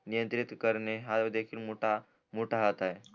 नियंत्रित करणे हा देखील मोठा मोठा हात आहे